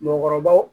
Mɔɔkɔrɔbaw